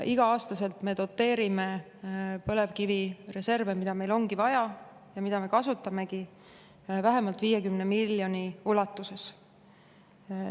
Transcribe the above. Iga-aastaselt me doteerime põlevkivireserve, mida meil ongi vaja ja mida me kasutamegi vähemalt 50 miljoni ulatuses.